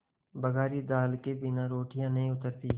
बघारी दाल के बिना रोटियाँ नहीं उतरतीं